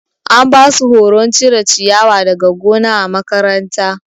An basu horon cire ciyawa daga gona na makaranta.